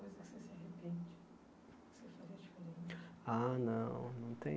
você se arrepende? Ah não não tem